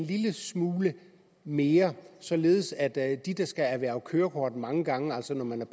lille smule mere således at de der skal erhverve kørekort mange gange altså når man er